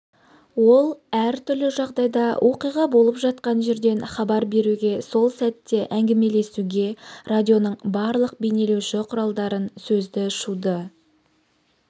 ол әртүрлі жағдайда оқиға болып жатқан жерден хабар беруге сол сәтте әңгімелесуге радионың барлық бейнелеуші құралдарын сөзді шуды